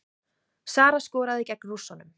Sara skoraði gegn Rússunum